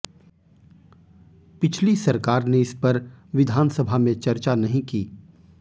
पिछली सरकार ने इस पर विधानसभा में चर्चा नहीं की